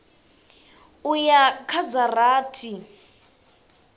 u ya kha dza rathi